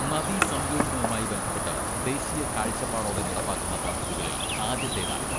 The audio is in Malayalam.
നദീസംയോജനവുമായി ബന്ധപ്പെട്ട് ദേശീയ കാഴ്ചപ്പാടോടെ നടപ്പാക്കുന്ന പദ്ധതികളിൽ ആദ്യത്തേതാണിത്.